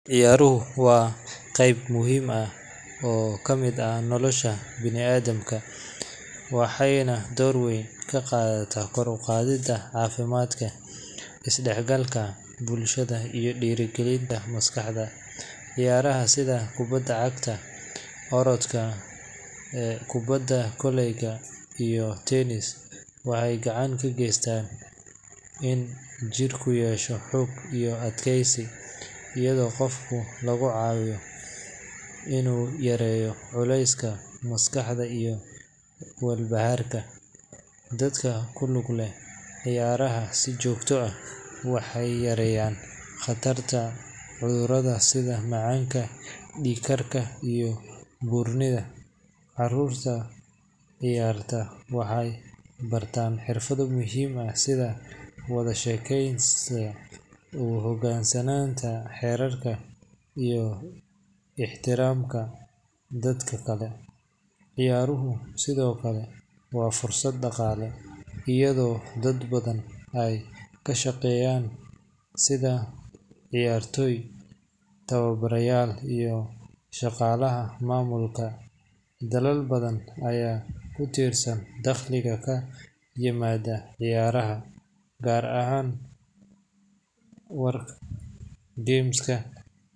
Ciyaaruhu waa qayb muhiim ah oo ka mid ah nolosha bani’aadamka waxayna door weyn ka qaataan kor u qaadidda caafimaadka, isdhexgalka bulshada, iyo dhiirrigelinta maskaxda. Ciyaaraha sida kubbadda cagta, orodka, kubbadda koleyga, iyo tennis waxay gacan ka geystaan in jirku yeesho xoog iyo adkaysi, iyadoo qofka lagu caawiyo inuu yareeyo culayska maskaxda iyo walbahaarka. Dadka ku lug leh ciyaaraha si joogto ah waxay yareeyaan khatarta cudurrada sida macaanka, dhiig karka, iyo buurnida. Carruurta ciyaarta waxay bartaan xirfado muhiim ah sida wada shaqaynta, u hoggaansanaanta xeerarka, iyo ixtiraamka dadka kale. Ciyaaruhu sidoo kale waa fursad dhaqaale, iyadoo dad badan ay ka shaqeeyaan sida ciyaartooy, tababarayaal, iyo shaqaalaha maamulka. Dalal badan ayaa ku tiirsan dakhliga ka yimaada ciyaaraha, gaar ahaan games[cs[.